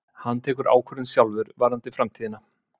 Hann tekur ákvörðun sjálfur varðandi framtíðina